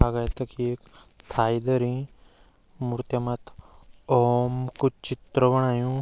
अभे तखी एक थाईगरीं मूर्तियाँ मथ्थी ओम कु चित्र बणयूं।